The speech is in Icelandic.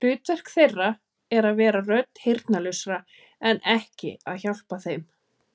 Hlutverk þeirra er að vera rödd heyrnarlausra, en ekki að hjálpa þeim.